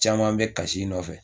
Caman bɛ kas'i nɔfɛ.